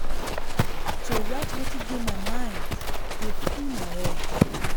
to write wetin dey my mind dey free my head.